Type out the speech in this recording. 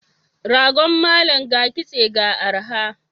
Ragon malam ga kitse ga arha.